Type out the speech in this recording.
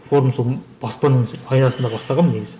форум сол баспаның пайдасында бастағанмын негізі